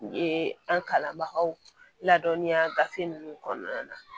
U ye an kalanbagaw ladɔnniya gafe ninnu kɔnɔna na